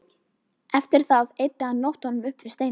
Eftir það eyddi hann nóttunum upp við steina.